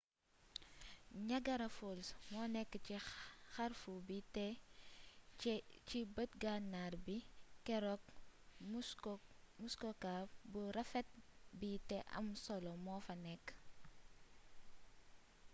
niagara falls monékk ci xarfu bi té ci beet gannar bi keeruk muskoka bu rafet bi té am solo mofa nékk